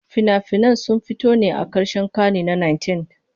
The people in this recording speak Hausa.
Fina-finan sun fito ne a karshen karni na 19.